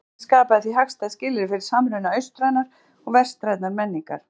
Bókasafnið skapaði því hagstæð skilyrði fyrir samruna austrænnar og vestrænnar menningar.